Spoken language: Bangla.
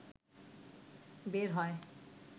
বের হয়